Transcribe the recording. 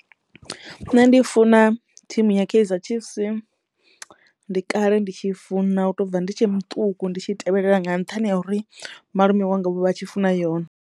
Nṋe ndi funa thimu ya Kaizer Chiefs ndi kale ndi tshi funa u to bva ndi tshe muṱuku ndi tshi tevhelela nga nṱhani ha uri malume wanga vho vha vha tshi funa yone.